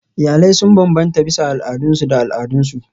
Iyalai sun bambanta bisa al'adunsu da al'adunsu.